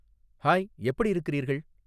hi எப்படி இருக்கிறீர்கள்